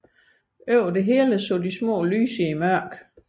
Overalt så de små lys i mørket